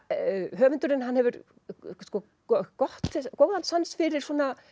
höfundurinn hefur góðan sans fyrir